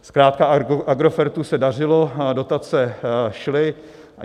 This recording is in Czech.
Zkrátka Agrofertu se dařilo, dotace šly.